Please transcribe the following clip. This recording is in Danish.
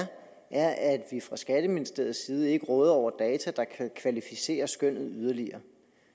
er at vi fra skatteministeriets side ikke råder over data der kan kvalificere skønnet yderligere